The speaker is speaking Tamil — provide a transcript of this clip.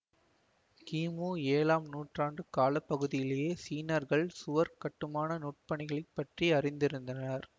கீமூ ஏழாம் நூற்றாண்டு காலப்பகுதியிலேயே சீனர்கள் சுவர்க் கட்டுமான நுட்பணிகளைப்பற்றி அறிந்திருந்தனர்